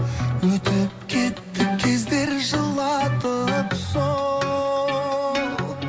өтіп кетті кездер жылатып сол